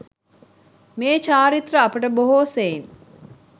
මේ චාරිත්‍ර අපට බොහෝ සෙයින්